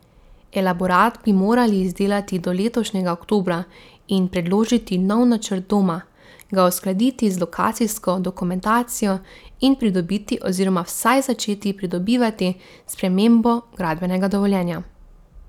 Elaborat bi morali izdelati do letošnjega oktobra in predložiti nov načrt doma, ga uskladiti z lokacijsko dokumentacijo in pridobiti oziroma vsaj začeti pridobivati spremembo gradbenega dovoljenja.